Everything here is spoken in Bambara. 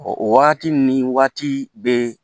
Ɔ o waati ni waati bɛ